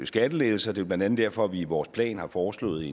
skattelettelser det er blandt andet derfor vi i vores plan har foreslået